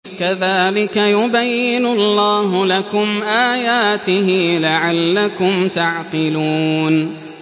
كَذَٰلِكَ يُبَيِّنُ اللَّهُ لَكُمْ آيَاتِهِ لَعَلَّكُمْ تَعْقِلُونَ